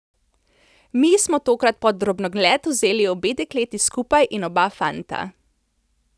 Mi smo tokrat pod drobnogled vzeli obe dekleti skupaj in oba fanta.